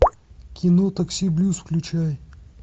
кино такси блюз включай